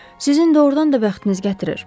Sizin doğrudan da bəxtiniz gətirir.